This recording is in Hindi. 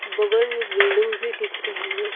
बगल में बिल्डिंग भी दिख रहे हैं।